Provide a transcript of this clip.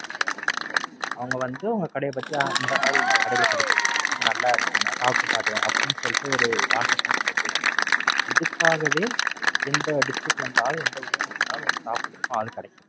அவங்க வந்து உங்க கடைய பத்தி, ஆ. இந்த மாறி இந்த கடையில கிடைக்கிது. இது நல்லாஇருக்கு. நான் வந்து சாப்பிட்டு பாத்தேன். அப்படின்னு சொல்லிட்டு ஒரு Whatsapp பண்ணுனாலே போதும். இதுக்காகவே எந்த District ல இருந்தாவது எனது ஊரிலிருந்தாவது, உங்களுக்கு சாப்பிடதற்கு ஆள் கிடைக்கும்.